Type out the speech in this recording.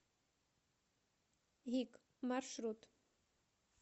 гик маршрут